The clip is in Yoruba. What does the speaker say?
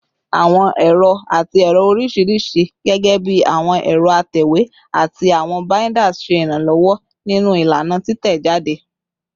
Awọn ẹrọ ati ẹrọ oriṣiriṣi, gẹgẹbi awọn ẹrọ atẹwe ati awọn binders, ṣe iranlọwọ ninu ilana titẹjade